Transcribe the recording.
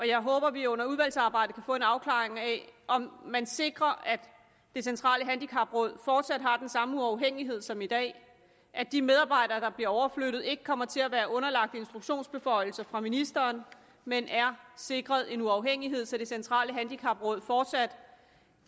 jeg håber at vi under udvalgsarbejdet kan få en afklaring af om man sikrer at det centrale handicapråd fortsat har den samme uafhængighed som i dag at de medarbejdere der bliver overflyttet ikke kommer til at være underlagt instruktionsbeføjelser fra ministeren men er sikret en uafhængighed så det centrale handicapråd fortsat